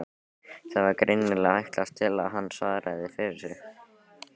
Það var greinilega ætlast til að hann svaraði fyrir sig.